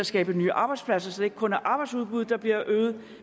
skabe nye arbejdspladser så det ikke kun er arbejdsudbuddet der bliver øget